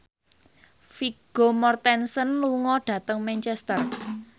Vigo Mortensen lunga dhateng Manchester